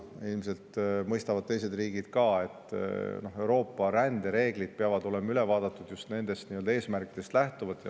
Ilmselt mõistavad ka teised riigid, et Euroopa rändereeglid peab üle vaatama just nendest eesmärkidest lähtuvalt.